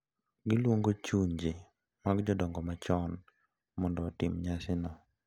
Giluongo chunje mag jodongo machon mondo otim nyasino.